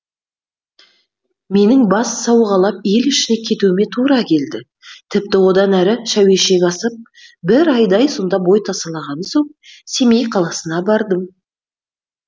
менің бас сауғалап ел ішіне кетуіме тура келді тіпті одан әрі шәуешек асып бір айдай сонда бой тасалаған соң семей қаласына бардым